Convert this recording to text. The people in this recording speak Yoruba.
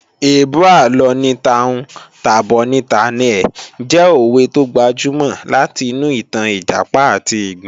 "Èébú àlọ ni ta'hun tà'bọ̀ ni tà'na ẹ̀" jẹ́ òwe tó gbajúmọ̀ láti inú ìtàn Ìjàpá àti ìgbín